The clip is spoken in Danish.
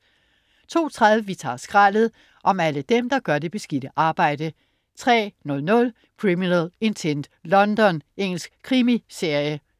02.30 Vi tager skraldet! Om alle dem, der gør det beskidte arbejde! 03.00 Criminal Intent: London. Engelsk krimiserie